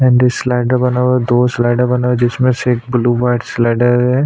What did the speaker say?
ऐनङ slider बना हुआ है दो स्लाइडर बना हुआ है जिसमें से ब्लू व्हाइट सिलेंडर --